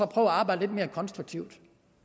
arbejde lidt mere konstruktivt